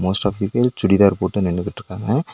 Most of the people churidar போட்டு நின்னுகிட்டு இருக்காங்க.